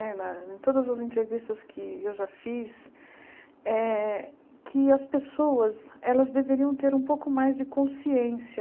Era em todas as entrevistas que eu já fiz, eh que as pessoas deveriam ter um pouco mais de consciência